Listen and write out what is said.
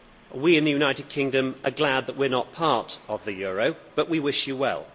We in the United Kingdom are glad that we are not part of the euro, but we wish you well.